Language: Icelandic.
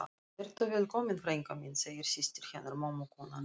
Vertu velkomin frænka mín, segir systir hennar mömmu, konan í